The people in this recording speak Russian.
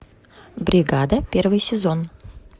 бригада первый сезон